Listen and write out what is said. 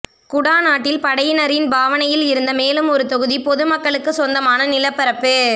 குடாநாட்டில் படையினரின் பாவனையில் இருந்த மேலும் ஒரு தொகுதி பொது மக்களுக்கு சொந்தமான நிலப்பரப்பு